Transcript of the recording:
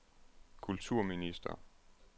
kulturminister